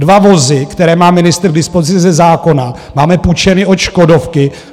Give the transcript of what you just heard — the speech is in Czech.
Dva vozy, které má ministr k dispozici ze zákona, máme půjčeny od Škodovky.